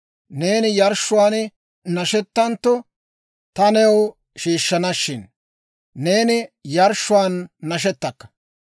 Neeni yarshshuwaan nashetantto ta new shiishshanashin, neeni yarshshuwaan nashetakka.